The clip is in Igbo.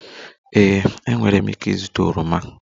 Ee, enwere m ike ịzụta oroma